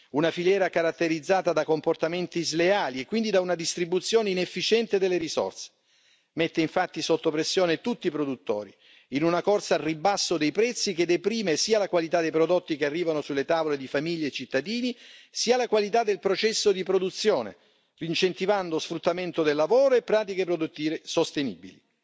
Una filiera caratterizzata da comportamenti sleali e quindi da una distribuzione inefficiente delle risorse mette infatti sotto pressione tutti i produttori, in una corsa al ribasso dei prezzi che deprime sia la qualità dei prodotti che arrivano sulle tavole di famiglie e cittadini, sia la qualità del processo di produzione, incentivando sfruttamento del lavoro e pratiche produttive non sostenibili.